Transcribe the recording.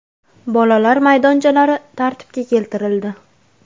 Bolalar maydonchalari tartibga keltirildi.